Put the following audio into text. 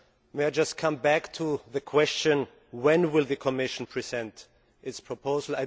May I just come back to the question when will the Commisson present its proposal?